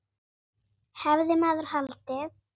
Hefði maður haldið.